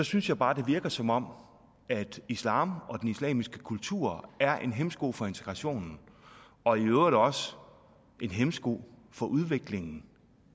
synes jeg bare det virker som om islam og den islamiske kultur er en hæmsko for integrationen og i øvrigt også en hæmsko for udviklingen